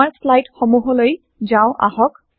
আমাৰ চ্লাইদ সমূহলৈ যাও আহক